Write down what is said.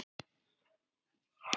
ÍR féll niður um deild.